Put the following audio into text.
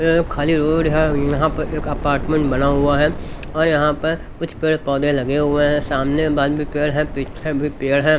ये खाली रोड है यहां पर एक अपार्टमेंट बना हुआ है और यहां पर कुछ पेड़ पौधे लगे हुए हैं सामने भी पेड़ है पीछे भी पेड़ है।